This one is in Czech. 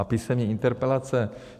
A písemné interpelace?